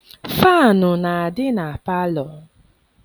Faanụ na-adị na palọ.